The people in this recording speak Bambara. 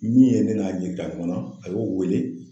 Min ye ne n'a ɲɛ yira ɲɔgɔn na, a y'o wele.